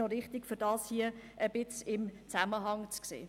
Es ist wichtig, diesen Zusammenhang zu sehen.